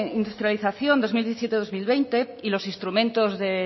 industrialización dos mil diecisiete dos mil veinte y los instrumentos